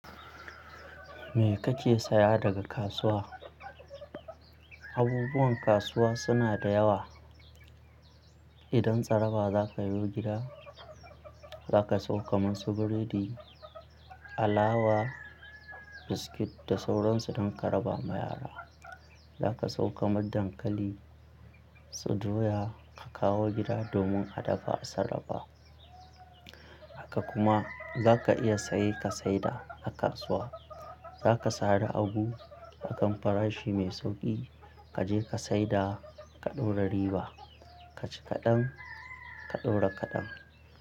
Me kake saya daga kasuwa? Abubuwan kasuwa suna da yawa. Idan tsaraba zaka yo gida, zaka sawo masu burodi, alawa, biskit da sauransu don ka raba ma yara. Zaka sawo kaman dankali, su doya ka kawo gida domin a dafa a sarrafa. Haka kuma zaka iya saye ka saida a kasuwa. Zaka sare abu a kan farashi mai sauƙi, ka je ka saida ka ɗora riba. Ka ci kaɗan, ka ɗora kaɗan.